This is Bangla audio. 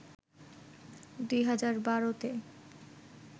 ২০১২ তে